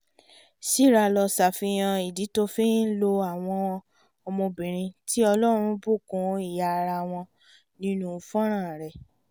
sìràlọ̀ ṣàfihàn ìdí tó fi ń lo àwọn ọmọbìnrin tí ọlọ́run bùkún ìhà ara wọn nínú fọ́nrán rẹ̀